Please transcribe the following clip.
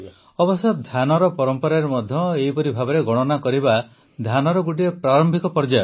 ଅବଶ୍ୟ ଧ୍ୟାନର ପରମ୍ପରାରେ ମଧ୍ୟ ଏହିପରି ଭାବେ ଗଣନା କରିବା ଧ୍ୟାନର ଗୋଟିଏ ପ୍ରାରମ୍ଭିକ ପର୍ଯ୍ୟାୟ